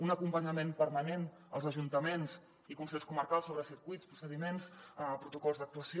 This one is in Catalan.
un acompanyament permanent als ajuntaments i consells comarcals sobre circuits procediments protocols d’actuació